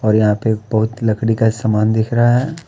और यहाँ पे बहुत लकड़ी का समान दिख रहा है।